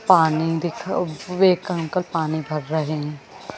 पानी देख अ उसवे एक अंकल पानी भर रहे है।